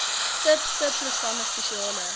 sub subprogramme spesiale